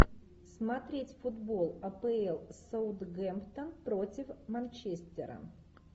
смотреть футбол апл саутгемптон против манчестера